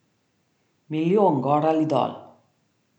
Milijon gor ali dol.